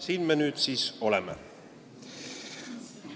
Siin me nüüd siis oleme.